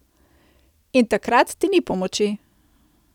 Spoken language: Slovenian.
In takrat ti ni pomoči.